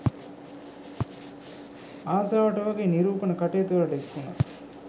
ආසාවට වගේ නිරූපණ කටයුතුවලට එක්වුණා